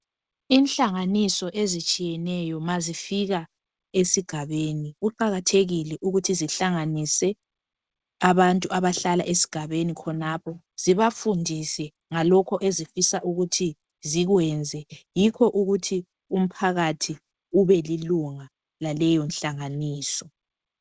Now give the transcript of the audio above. Inhlanganiso ezitshiyeneyo ma zifika esigabeni kuqakathekile ukuthi zihlanganise abantu abahlala esigabeni khonapho zibafundise ngalokho ezifisa ukuthi zikwenze yikho ukuthi umphakathi ube lilunga laleyo nhlanganiso.